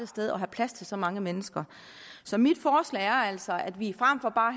sted og have plads til så mange mennesker så mit forslag er altså at vi fremfor bare at